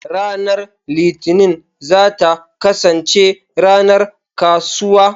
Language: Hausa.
Ranar Litinin za ta kasance ranar kasuwa.